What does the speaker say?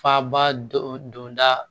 Faba dɔ don da